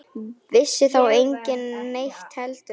Vissi þá enginn neitt heldur?